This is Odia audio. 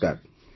ନମସ୍କାର